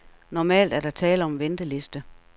Normalt er der tale om en venteliste.